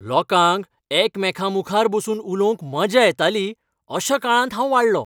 लोकांक एकमेकांमुखार बसून उलोवंक मजा येताली अशा काळांत हांव वाडलों.